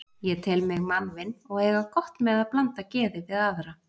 Ég tel mig mannvin og eiga gott með að blanda geði við aðra.